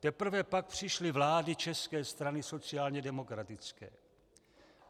Teprve pak přišly vlády České strany sociálně demokratické.